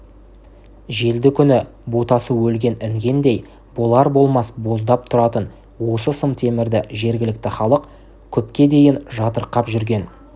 желді күні ботасы өлген інгендей болар-болмас боздап тұратын осы сым темірді жергілікті халық көпке дейін жатырқап жүрген